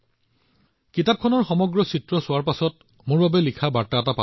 যেতিয়া মই এই কিতাপখন আৰু সেই সকলোবোৰ ছবি দেখিলো আৰু তাত মোৰ বাবে এটা বাৰ্তা আছিল